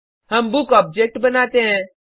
हम book object बनाते हैं